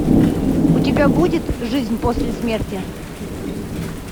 у тебя будет жизнь после смерти